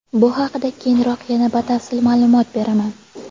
Bu haqida keyinroq yana batafsil ma’lumot beraman.